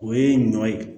O ye ɲɔ ye